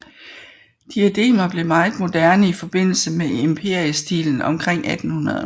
Diademer blev meget moderne i forbindelse med empirestilen omkring 1800